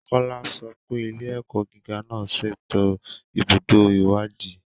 Kola sọ pé ilé-ẹ̀kọ́ gíga náà ṣètò ibùdó ìwádìí.